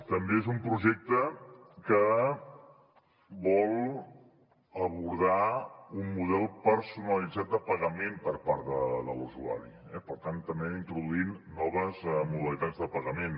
també és un projecte que vol abordar un model personalitzat de pagament per part de l’usuari per tant també introduint noves modalitats de pagament